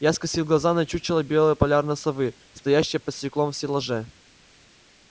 я скосил глаза на чучело белой полярной совы стоящее под стеклом в стеллаже